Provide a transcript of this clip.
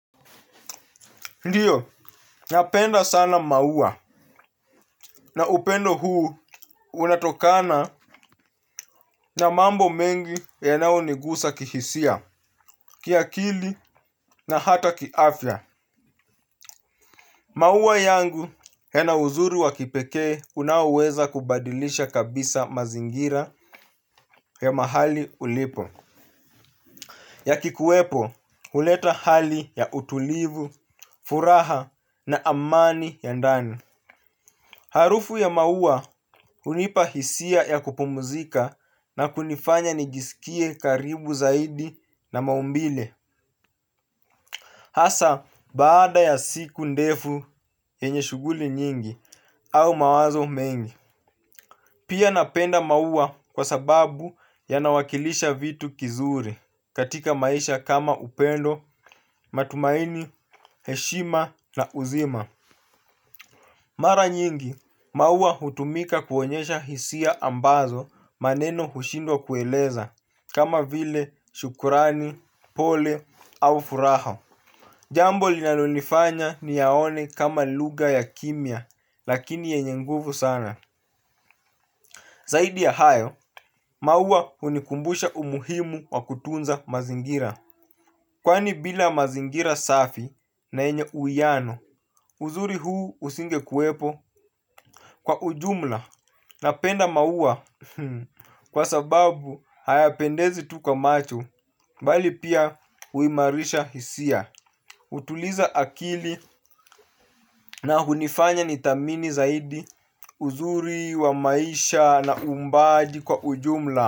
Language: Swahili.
Ndiyo, napenda sana maua na upendo huu unatokana na mambo mengi ya nayo nigusa kihisia, kiakili na hata kiafya. Maua yangu ya na uzuri wa kipekee unaoweza kubadilisha kabisa mazingira ya mahali ulipo. Ya kikuwepo, huleta hali ya utulivu, furaha na amani ya ndani. Harufu ya maua hunipa hisia ya kupumzika na kunifanya nijisikie karibu zaidi na maumbile. Hasa baada ya siku ndefu yenye shughuli nyingi au mawazo mengi pia napenda maua kwa sababu ya nawakilisha vitu kizuri katika maisha kama upendo, matumaini, heshima na uzima. Mara nyingi, maua hutumika kuonyesha hisia ambazo maneno hushindwa kueleza, kama vile shukurani, pole, au furaha. Jambo lina lonifanya ni yaone kama lugha ya kimia, lakini yenye nguvu sana. Zaidi ya hayo, maua hunikumbusha umuhimu wa kutunza mazingira. Kwani bila mazingira safi na yenye uwiyano uzuri huu usingekuwepo. Kwa ujumla na penda maua kwa sababu haya pendezi tukwamacho bali pia huimarisha hisia. Hutuliza akili na hunifanya nithamini zaidi uzuri wa maisha na uumbaji kwa ujumla.